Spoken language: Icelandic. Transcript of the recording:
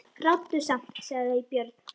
Ráddu samt, sagði Björn.